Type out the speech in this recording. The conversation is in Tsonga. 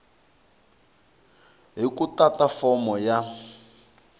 hi ku tata fomo ya